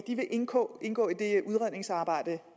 indgå indgå i det udredningsarbejde